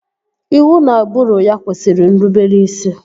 Iwu na ụbụrụ ya kwesịrị nrubere isi